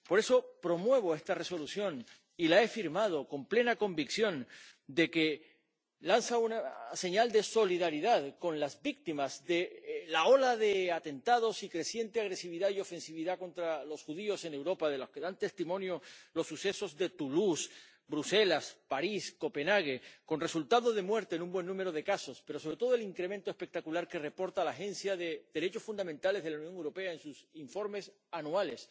Por eso promuevo esta Resolución y la he firmado con la plena convicción de que lanza una señal de solidaridad con las víctimas de la ola de atentados y de la creciente agresividad y ofensividad contra los judíos en Europa, de lo que dan testimonio los sucesos de Toulouse, Bruselas, París, Copenhague, con resultado de muerte en un buen número de casos y, sobre todo, el incremento espectacular que reporta la Agencia de Derechos Fundamentales de la Unión Europea en sus informes anuales